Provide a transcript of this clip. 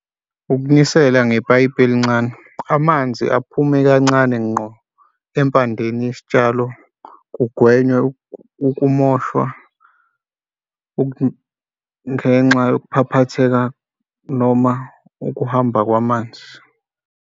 Ukunisela ngepayipi elincane. Amanzi aphume kancane, ngqo empandeni yesitshalo kugwenywe ukumoshwa ngenxa yokuphaphatheka noma ukuhamba kwamanzi.